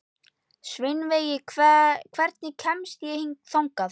Sveinveig, hvernig kemst ég þangað?